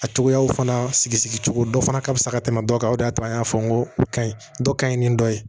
A cogoyaw fana sigi sigi cogo dɔ fana ka fisa dɔ kan o de y'a to an y'a fɔ n ko ka ɲi dɔ ka ɲi ni dɔ ye